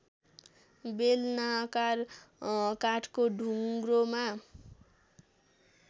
बेलनाकार काठको ढुङ्ग्रोमा